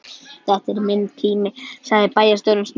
Þetta er minn tími sagði bæjarstjórinn snöggt.